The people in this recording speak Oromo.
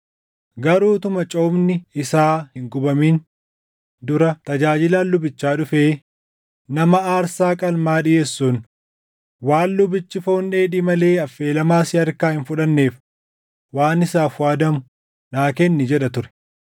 Garuu utuma coomni isaa hin gubamin dura tajaajilaan lubichaa dhufee nama aarsaa qalmaa dhiʼeessuun, “Waan lubichi foon dheedhii malee affeelamaa si harkaa hin fudhanneef waan isaaf waadamu naa kenni” jedha ture.